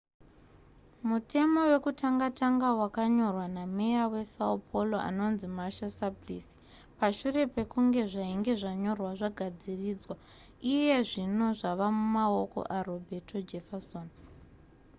mutemo wekutanga tanga wakanyorwa nameya wesão paulo anonzi marta suplicy. pashure pekunge zvainge zvanyorwa zvagadziridzwa iye zvino zvava mumaoko aroberto jefferson